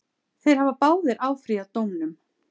Þeir hafa báðir áfrýjað dómnum.